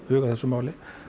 þessu máli